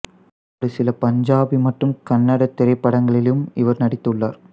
ஒரு சில பஞ்சாபி மற்றும் கன்னடத் திரைப்படங்களிலும் இவர் நடித்துள்ளார்